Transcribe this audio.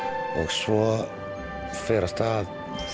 svo fer af stað